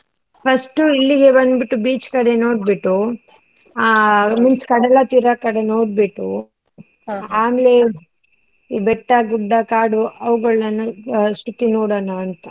First ಇಲ್ಲಿಗೆ ಬಂದ್ಬಿಟ್ಟು beach ಕಡೆ ನೋಡ್ಬಿಟ್ಟು, ಆ means ಕಡಲತೀರ ಕಡೆ ನೋಡ್ಬಿಟ್ಟು ಈ ಬೆಟ್ಟ, ಗುಡ್ಡ, ಕಾಡು ಆವಗಳ್ನ ಅಷ್ಟೊತ್ತಿಗೆ ನೋಡೋಣ ಅಂತ.